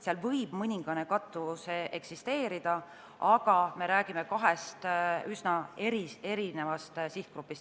Seal võib eksisteerida mõningane kattuvus, aga me räägime kahest üsna erinevast sihtgrupist.